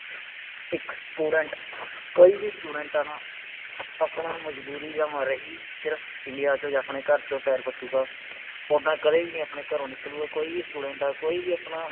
ਇਕ Student ਕਈ ਵੀ Student ਆ ਨਾ ਆਪਣਾ ਮਜਬੂਰੀ ਦੇ ਮਾਰੇ ਹੀ ਸਿਰਫ ਇੰਡੀਆ ਚੋ ਜਾ ਆਪਣੇ ਘਰ ਚੋ ਪੈਰ ਪਟੂਗਾ ਓਦਾਂ ਕਦੇ ਵੀ ਨਹੀਂ ਆਪਣੇ ਘਰੋਂ ਨਿਕਲੂਗਾ ਕੋਈ ਵੀ Student ਆ ਕੋਈ ਵੀ ਆਪਣਾ